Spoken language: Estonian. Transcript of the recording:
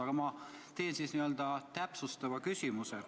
Aga ma esitan siis täpsustava küsimuse.